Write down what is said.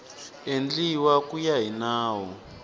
endliwa ku ya hi nawu